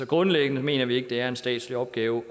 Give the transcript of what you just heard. grundlæggende mener vi ikke det er en statslig opgave